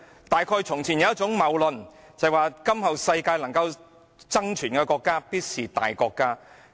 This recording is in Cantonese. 大概從前有一種謬論，就是'在今後世界能夠爭存的國家，必定是大國家'。